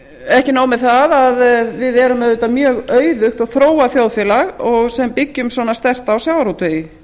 ekki nóg með það að við erum auðvitað mjög auðugt og þróað þjóðfélag sem byggjum svona sterkt á sjávarútvegi